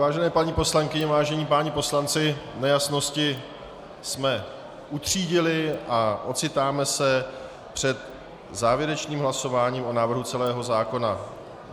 Vážené paní poslankyně, vážení páni poslanci, nejasnosti jsme utřídili a ocitáme se před závěrečným hlasováním o návrhu celého zákona.